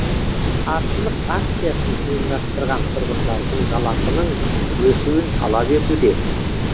қарсылық акциясын ұйымдастырған тұрғындардың жалақының өсуін талап етуде